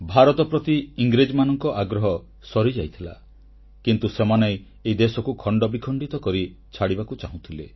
ଭାରତ ପ୍ରତି ଇଂରେଜମାନଙ୍କ ମୋହ ଭାଙ୍ଗିଯାଇଥିଲା କିନ୍ତୁ ସେମାନେ ଏହି ଦେଶକୁ ଖଣ୍ଡବିଖଣ୍ଡିତ କରି ଛାଡ଼ିବାକୁ ଚାହୁଁଥିଲେ